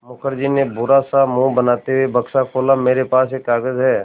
मुखर्जी ने बुरा सा मुँह बनाते हुए बक्सा खोला मेरे पास एक कागज़ है